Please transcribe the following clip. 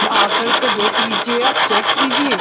आकर के देख लीजिए। आप चेक कीजिये।